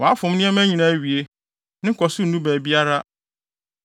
Wafom nneɛma nyinaa awie; ne nkɔso nnu baabiara.